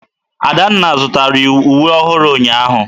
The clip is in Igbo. Adanna zụtara uwe ọhụrụ ụnyahụ.